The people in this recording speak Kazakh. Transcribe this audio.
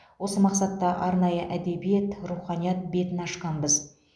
осы мақсатта арнайы әдебиет руханият бетін ашқанбыз